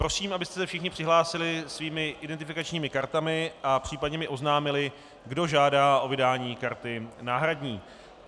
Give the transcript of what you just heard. Prosím, abyste se všichni přihlásili svými identifikačními kartami a případně mi oznámili, kdo žádá o vydání karty náhradní.